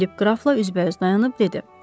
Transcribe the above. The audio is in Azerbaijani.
Filip qrafla üzbəüz dayanıb dedi: